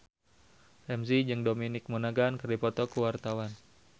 Ramzy jeung Dominic Monaghan keur dipoto ku wartawan